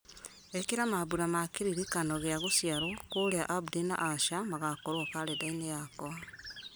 ĩkĩra mambura ma kĩririkano gĩa gũciarwo kũrĩa abdi na asha magakorwo karenda-inĩ yakwa